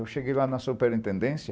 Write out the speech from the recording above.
Eu cheguei lá na superintendência.